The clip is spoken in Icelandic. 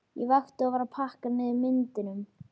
Ég vakti og var að pakka niður myndunum.